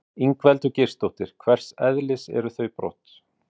Ingveldur Geirsdóttir: Hvers eðlis eru þau brot?